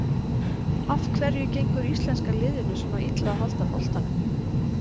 Af hverju gengur íslenska liðinu svona illa að halda boltanum?